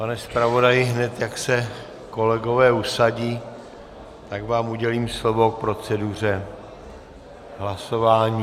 Pane zpravodaji, hned jak se kolegové usadí, tak vám udělím slovo k proceduře hlasování.